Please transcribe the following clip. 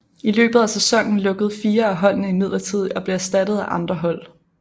I løbet af sæsonen lukkede fire af holdene imidlertid og blev erstattet af andre hold